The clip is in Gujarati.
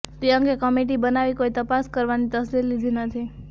એ તે અંગે કમિટી બનાવી કોઇ તપાસ કરાવવાની તસ્દી લીધી નથી